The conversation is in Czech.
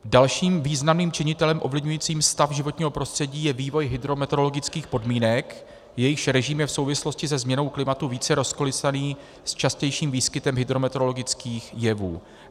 Dalším významným činitelem ovlivňujícím stav životního prostředí je vývoj hydrometeorologických podmínek, jejichž režim je v souvislosti se změnou klimatu více rozkolísaný, s častějším výskytem hydrometeorologických jevů.